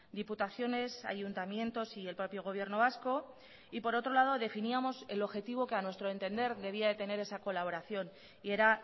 diputaciones ayuntamientos y el propio gobierno vasco y por otro lado definíamos el objetivo que a nuestro entender debía de tener esa colaboración y era